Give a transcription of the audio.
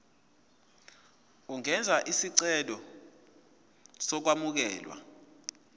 ungenza isicelo sokwamukelwa